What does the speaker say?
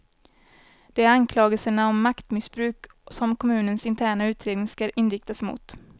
Det är anklagelserna om maktmissbruk som kommunens interna utredning skall inriktas emot.